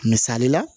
Misali la